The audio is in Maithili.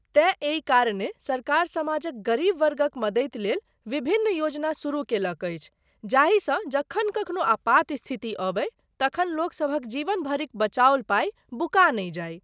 तेँ एहि कारणेँ सरकार समाजक गरीब वर्गक मदति लेल विभिन्न योजना शुरू केलक अछि, जाहिसँ जखन कखनो आपात स्थिति अबै तखन लोकसभक जीवन भरिक बचाओल पाइ बुका नहि जाइ।